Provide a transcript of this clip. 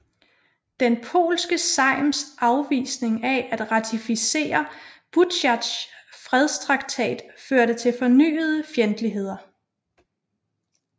Den polske sejms afvisning af at ratificere Butsjatsjs fredstraktat førte til fornyede fjendtligheder